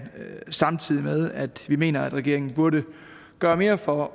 samtidig med at vi mener at regeringen burde gøre mere for